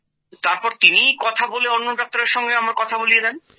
তারপর তিনিই কথা বলে অন্য ডাক্তারের সঙ্গে আমার কথা বলিয়ে দেয়